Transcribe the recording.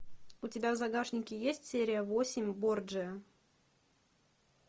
у тебя в загашнике есть серия восемь борджиа